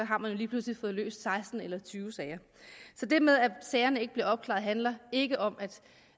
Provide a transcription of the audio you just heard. har man lige pludselig fået løst seksten eller tyve sager så det med at sagerne ikke bliver opklaret handler ikke om